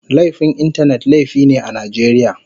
Laifin Intanet laifi ne a Najeriya.